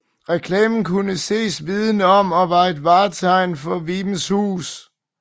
Reklamen kunne ses viden om og var et vartegn for Vibenshus